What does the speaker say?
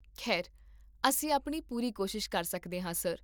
ਖੈਰ, ਅਸੀਂ ਆਪਣੀ ਪੂਰੀ ਕੋਸ਼ਿਸ਼ ਕਰ ਸਕਦੇ ਹਾਂ, ਸਰ